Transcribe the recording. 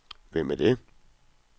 Hvem er det